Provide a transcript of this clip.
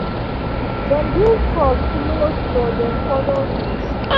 dem build trust slow slow dem follow rules